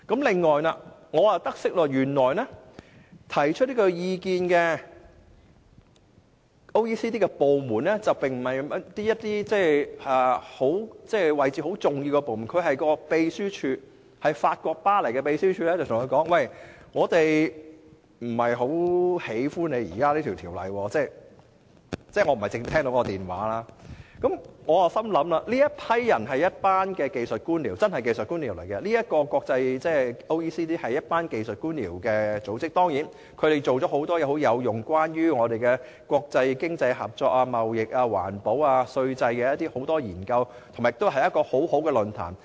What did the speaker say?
此外，我得悉提出這個意見的經合組織的部門，原來並不是甚麼重要位置的部門，只是法國巴黎的秘書處致電本港的官員說："我們不太喜歡你現在這條條例"——我不是親自接聽這通電話——因此，我認為這一批人是真正技術官僚，而這個經合組織就是一個技術官僚組織，雖則他們做了很多很有意義的事情，例如就國際經濟合作、貿易、環保及稅制等方面進行了許多研究，亦提供一個很好的論壇。